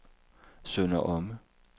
Sønder Omme